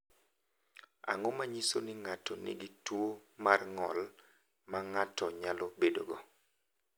Ang’o ma nyiso ni ng’ato nigi tuwo mar ng’ol ma ng’ato nyalo bedogo?